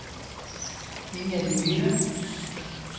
Inger Myhre